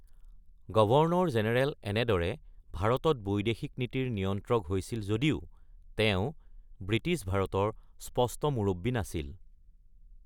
Governor general এনেদৰে ভাৰতত বৈদেশিক নীতিৰ নিয়ন্ত্ৰক হৈছিল যদিও, তেওঁ ব্ৰিটিছ ভাৰতৰ স্পষ্ট মুৰব্বী নাছিল।